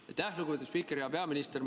Aitäh, lugupeetud spiiker!